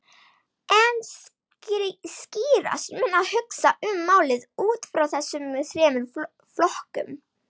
En skýrast mun að hugsa um málið út frá þessum þremur flokkum.